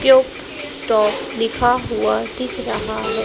Cube stop लिखा हुआ दिख रहा है।